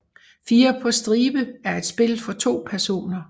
Fire på stribe er et spil for to personer